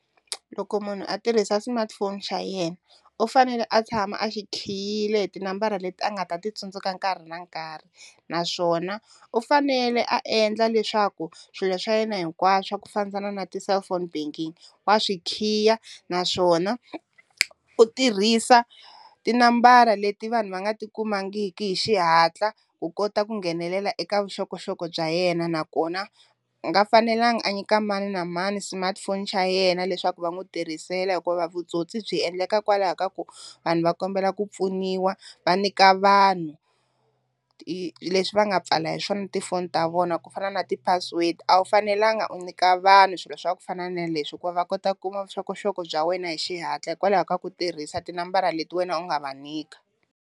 Loko munhu a tirhisa smartphone xa yena u fanele a tshama a xi khiyile hi tinambara leti a nga ta ti tsundzuka nkarhi na nkarhi naswona u fanele a endla leswaku swilo swa yena hinkwaswo swa ku fambiselana na ti-cellphone banking wa swi khiya, naswona u tirhisa tinambara leti vanhu va nga ti kumangiki hi xihatla ku kota ku nghenelela eka vuxokoxoko bya yena nakona a nga fanelanga a nyika mani na mani smartphone xa yena leswaku va n'wi tirhisela, hikuva vutsotsi byi endlekaka kwalaho ka ku vanhu va kombela ku pfuniwa va nyika vanhu leswi va nga pfala hi swona tifoni ta vona ku fana na ti-password, a wu fanelanga u nyika vanhu swilo swa ku fana na leswi hikuva va kota ku kuma vuxokoxoko bya wena hi xihatla hikwalaho ka ku tirhisa tinambara leti wena u nga va nyika.